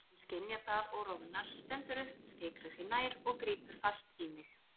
Hún skynjar það og roðnar, stendur upp, fikrar sig nær og grípur fast í mig.